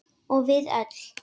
Og við öll.